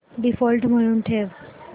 default म्हणून ठेव